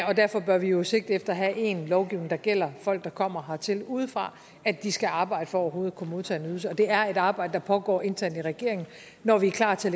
og derfor bør vi jo sigte efter at have én lovgivning der gælder folk der kommer hertil udefra at de skal arbejde for overhovedet at kunne modtage en ydelse det er et arbejde der pågår internt i regeringen når vi er klar til